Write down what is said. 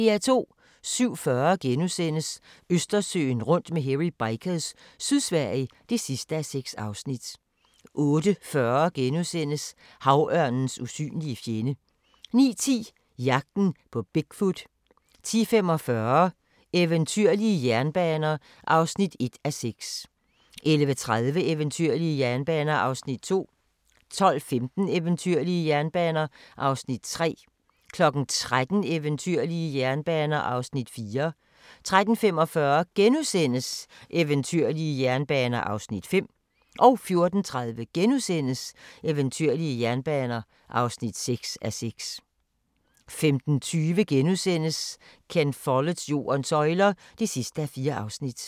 07:40: Østersøen rundt med Hairy Bikers – Sydsverige (6:6)* 08:40: Havørnens usynlige fjende * 09:10: Jagten på Bigfoot 10:45: Eventyrlige jernbaner (1:6) 11:30: Eventyrlige jernbaner (2:6) 12:15: Eventyrlige jernbaner (3:6) 13:00: Eventyrlige jernbaner (4:6) 13:45: Eventyrlige jernbaner (5:6)* 14:30: Eventyrlige jernbaner (6:6)* 15:20: Ken Folletts Jordens søjler (4:4)*